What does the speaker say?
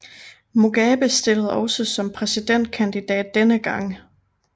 Mugabe stillede også som præsidentkandidat denne gang